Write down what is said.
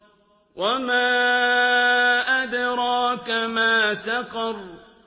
وَمَا أَدْرَاكَ مَا سَقَرُ